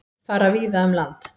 Fara víða um land